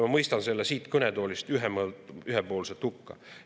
Ma mõistan selle siit kõnetoolist ühe hukka.